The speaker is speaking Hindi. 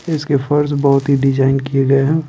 इसके फर्श बहुत ही डिजाइन किए गए है।